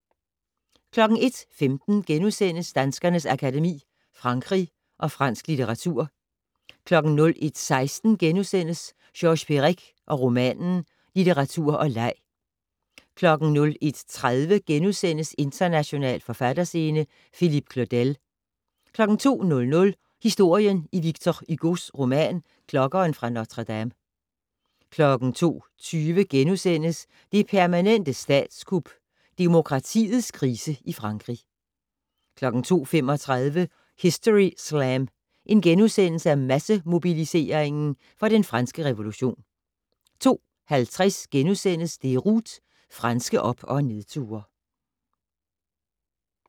01:15: Danskernes Akademi: Frankrig og fransk litteratur * 01:16: Georges Perec og romanen - litteratur og leg * 01:30: International forfatterscene - Philippe Claudel * 02:00: Historien i Victor Hugos roman "Klokkeren fra Notre-Dame" * 02:20: "Det permanente statskup" - demokratiets krise i Frankrig * 02:35: Historyslam - Massemobilisering for den franske revolution * 02:50: Déroute - franske op- og nedture *